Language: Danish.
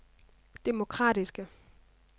demokratiske